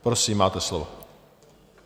Prosím, máte slovo.